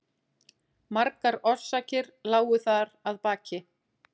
Margar orsakir lágu þar að baki.